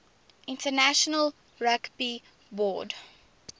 international rugby board